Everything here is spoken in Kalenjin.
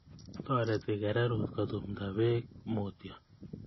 Toreti kererut kutumta beek mutyo